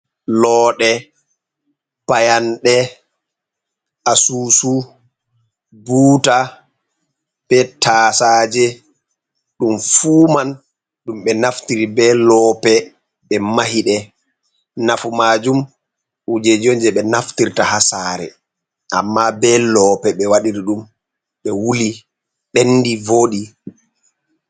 Looɗe, payanɗe, asusu, buuta, be taasaje, ɗum fuu man ɗum ɓe naftiri be loope, ɓe mahiɗe. Nafu maajum kujeji on je ɓe naftirta haa saare, amma be loope ɓe waɗiri ɗum, ɓe wuli ɓendi voodi.